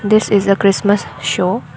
This is a christmas show.